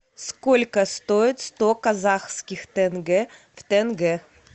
сколько стоит сто казахских тенге в тенге